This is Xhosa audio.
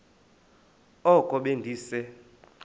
oko be ndise